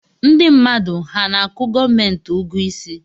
Ndi mmadụ ha ana-akụ gomenti ụgụ isi